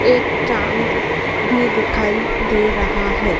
एक भी दिखाई दे रहा है।